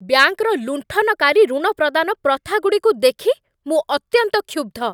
ବ୍ୟାଙ୍କର ଲୁଣ୍ଠନକାରୀ ଋଣ ପ୍ରଦାନ ପ୍ରଥାଗୁଡ଼ିକୁ ଦେଖି ମୁଁ ଅତ୍ୟନ୍ତ କ୍ଷୁବ୍ଧ।